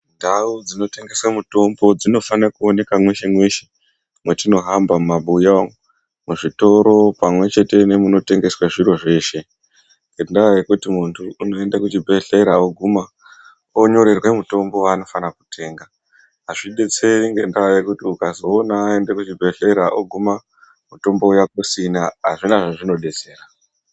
Ndau dzino tengese mitombo dzinofanire kuoneke mweshe mweshe mwetino hamba mumabuya umu, muzvitoro pamwechete nemunetengeswe zviro zveshe, ngendaa yekuti munhu unoende kuchi bhelhlera oguma onyorerwe mutombo wanofanire kutenga, azvidetseri ngendaa yekuti ukazoona aenda kuchi bhehlera oguma mutombo uya kusina hazvina zvazvino detsera.